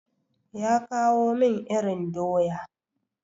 Ya kawo min irin doya.